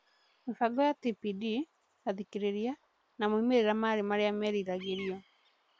Mĩbango ya TPD, athikĩrĩria, na moimĩrĩra marĩa meriragĩrio.